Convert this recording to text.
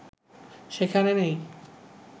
সেখানে নেই